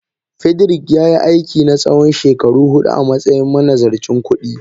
Frederick yayi aiki na tsawon shekaru hudu a matsayin manazarcin kudi.